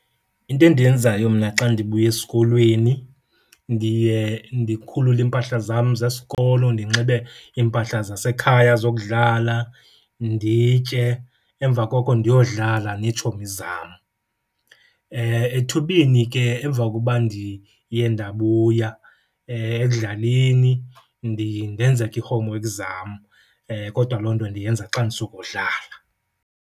Into endiyenzayo mna xa ndibuya esikolweni ndiye ndikhulule iimpahla zam zesikolo ndinxibe iimpahla zasekhaya zokudlala, nditye, emva koko ndiyodlala neetshomi zam. Ethubeni ke emva kokuba ndiye ndabuya ekudlaleni ndiye ndenze ke ii-homework zam, kodwa loo nto ndiyenza xa ndisukodlala.